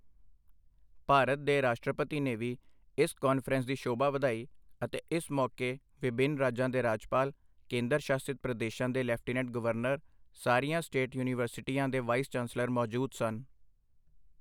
ਭਾਰਤ ਦੇ ਰਾਸ਼ਟਰਪਤੀ ਨੇ ਵੀ ਇਸ ਕਾਨਫ਼ਰੰਸ ਦੀ ਸ਼ੋਭਾ ਵਧਾਈ ਅਤੇ ਇਸ ਮੌਕੇ ਵਿਭਿੰਨ ਰਾਜਾਂ ਦੇ ਰਾਜਪਾਲ, ਕੇਂਦਰ ਸ਼ਾਸਿਤ ਪ੍ਰਦੇਸ਼ਾਂ ਦੇ ਲੈਫ਼ਟੀਨੈਂਟ ਗਵਰਨਰ, ਸਾਰੀਆਂ ਸਟੇਟ ਯੂਨੀਵਰਸਿਟੀਆਂ ਦੇ ਵਾਈਸ ਚਾਂਸਲਰ ਮੌਜੂਦ ਸਨ।